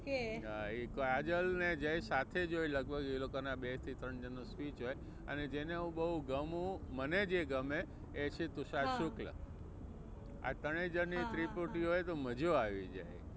okay એ કાજલ ને જય સાથે જ હોય લગભગ એ લોકો નાં બે થી ત્રણ જણ ની speech હોય અને જેને હું બહુ ગમું અને મને જે ગમે એ છે તુષાર શુક્લ. આ ત્રણે જણની ત્રિપુટી હોય તો મજો આવી જાય.